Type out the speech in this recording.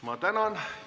Ma tänan!